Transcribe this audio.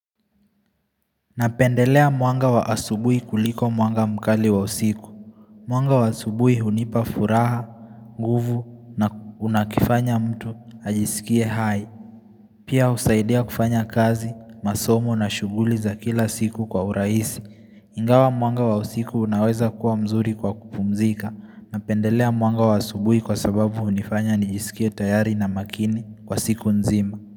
Napendelea mwanga wa asubuhi kuliko mwanga mkali wa usiku Mwanga wa asubuhi hunipa furaha, nguvu na unakifanya mtu ajisikie hai Pia husaidia kufanya kazi, masomo na shughuli za kila siku kwa urahisi Ingawa mwanga wa usiku unaweza kuwa mzuri kwa kupumzika Napendelea mwanga wa asubuhi kwa sababu hunifanya nijisikie tayari na makini kwa siku nzima.